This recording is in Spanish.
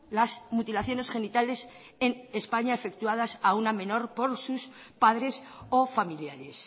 las mutilaciones genitales en españa efectuadas a una menor por sus padres o familiares